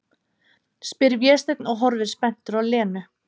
spyr Vésteinn og horfir spenntur á Lenu.